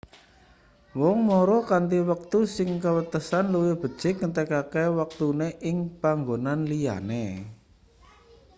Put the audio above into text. wong mara kanthi wektu sing kewatesan luwih becik ngentekake wektune ing panggonan liyane